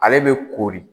Ale bɛ koori